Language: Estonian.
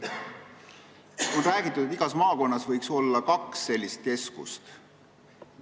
On räägitud, et igas maakonnas võiks kaks sellist keskust olla.